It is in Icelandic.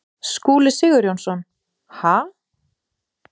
Skúli Sigurjónsson: Ha?